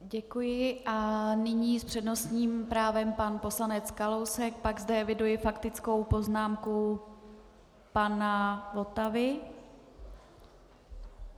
Děkuji a nyní s přednostním právem pan poslanec Kalousek, pak zde eviduji faktickou poznámku pana Votavy.